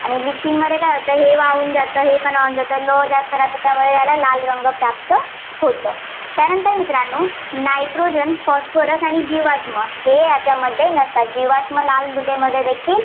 आणि litching मध्ये काय होतं हे वाहून जातं. हे पण वाहून जातं लोह जास्त राहतं त्यामुळे याला लाल रंग प्राप्त होतो. त्यानंतर मित्रांनो nitrogen, phosphorus आणि जीवाश्म हे याच्यामध्ये नसतात. जीवाश्म लाल मृदेमध्ये देखील